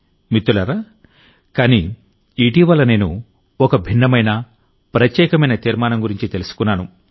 మిత్రులారాకానీ ఇటీవలనేను ఒక భిన్నమైన ప్రత్యేకమైన తీర్మానం గురించి తెలుసుకున్నాను